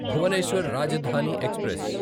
Bhubaneswar Rajdhani express